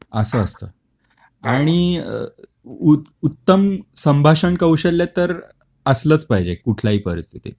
अस असत. आणि अ उ उत्तम संभाषण कौशल्य तर असलच पाहिजे कुठल्याही परिस्थितीत